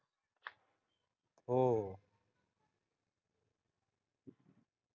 हो.